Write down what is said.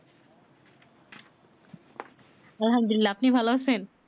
আলহামদুল্লিলাহ আপনি ভালো আছেন?